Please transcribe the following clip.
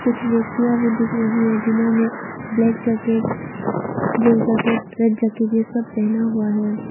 कुछ व्यक्तियां भी दिख रही है जिन्होंने black jacket blue jacket red jacket ये सब पहना हुआ है।